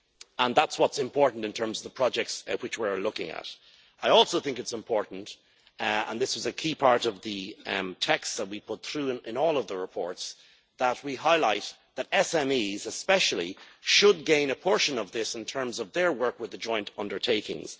And that's what is important in terms of the projects which we are looking at. I also think it is important, and this was a key part of the texts that we put through in all of the reports, that we highlight that SMEs especially should gain a portion of this in terms of their work with the joint undertakings.